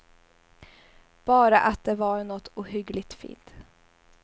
Bara att det var nåt ohyggligt fint.